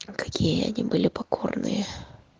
какие они были покорные